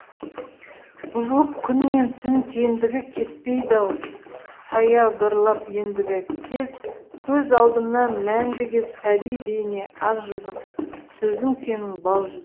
бұзылып күн мен түн теңдігі кетпейді ау саябырлап ендігі көз алдымнан мәңгіге сәби бейне ақ жүзің сөзің сенің бал жүзі